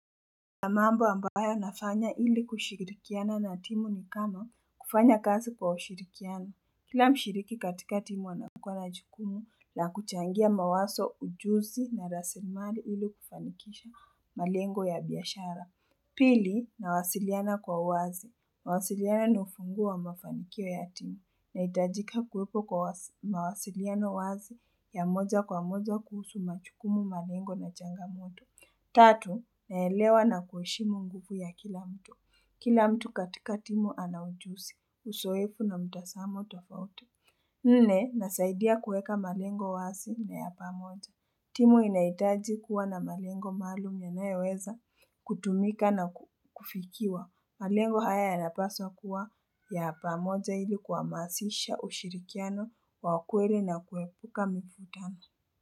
Na mambo ambayo nafanya ili kushirikiana na timu ni kama kufanya kazi kwa ushirikiano. Kila mshiriki katika timu anakua na jukumu la kuchangia mawazo ujuzi na rasilimali ili kufanikisha malengo ya biashara. Pili nawasiliana kwa uwazi. Kuwasiliana ni ufunguo wa mafanikio ya timu. Nahitajika kuwepo kwa mawasiliano wazi ya moja kwa moja kuhusu majukumu, malengo na changamoto. Tatu, naelewa na kuheshimu nguvu ya kila mtu. Kila mtu katika timu ana ujuzi. Uzoefu na mtazamo tofauti. Nne, inasaidia kuweka malengo wazi na ya pamoja. Timu inahitaji kuwa na malengo maalum yanayoweza kutumika na kufikiwa. Malengo haya yanapaswa kuwa ya pamoja ili kuhamasisha ushirikiano wa kweli na kuepuka mifutano.